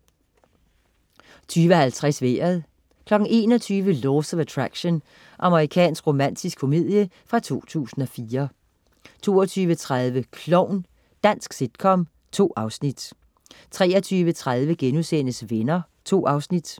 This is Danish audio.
20.50 Vejret 21.00 Laws of Attraction. Amerikansk romantisk komedie fra 2004 22.30 Klovn. Dansk sitcom. 2 afsnit 23.30 Venner* 2 afsnit